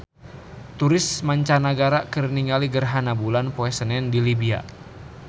Turis mancanagara keur ningali gerhana bulan poe Senen di Libya